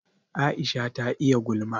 Aisha ta iya gulma